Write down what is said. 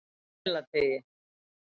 Melateigi